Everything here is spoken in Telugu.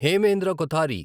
హేమేంద్ర కోతరి